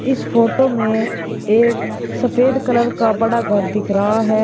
इस फोटो में एक सफेद कलर का बड़ा घर दिख रहा है।